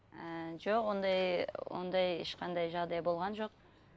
ііі жоқ ондай ондай ешқандай жағдай болған жоқ